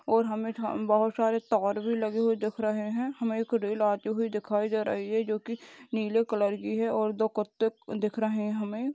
और हमें हम बहुत सारे तार भी लगे हुए दिख रहे हैं हमें खुद रेल हुए दिखाई जा रही है जो की नीले कलर की है और दो कुत्ते को दिख रहे हैं हमें।